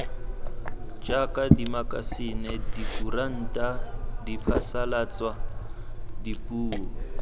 jaaka dimakasine dikuranta diphasalatso dipuo